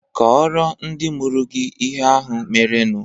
Kọọrọ ndị mụrụ gị ihe ahụ merenụ.